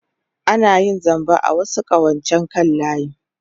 Ana iya yin zamba a wasu ƙawancen kan layi.